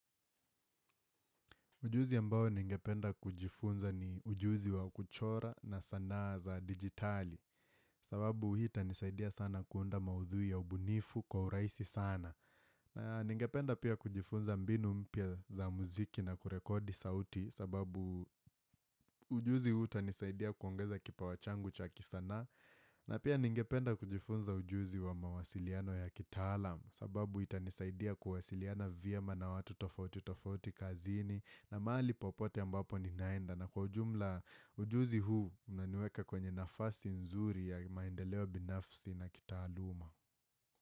Ujuzi ambao ningependa kujifunza ni ujuzi wa kuchora na sanaa za digitali sababu hii itanisaidia sana kuunda maudhuibya ubunifu kwa urahisi sana na ningependa pia kujifunza mbinu mpya za muziki na kurekodi sauti sababu ujuzi huu utanisaidia kuongeza kipawa changu cha ki sanaa na pia ningependa kujifunza ujuzi wa mawasiliano ya kitaalam sababu ita nisaidia kuwasiliana vyema na watu tofauti tofauti kazini na mahali popote ambapo ninaenda na kwa ujumla ujuzi huu unanniweeka kwenye nafasi nzuri ya maendeleo binafsi na kitaaaluma.